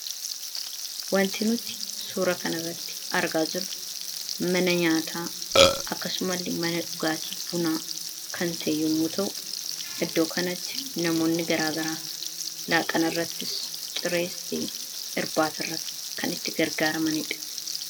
Wanti nuti suura kan irratti argaa jiru mana nyaataa akkasumalle mana dhugaatii bunaa kan ta'e yommuu ta'u iddoo kanatti namoonni garaagaraa laaqana irrattis cirees ta'e irbaata irratti kan itti gargaaramaniidha.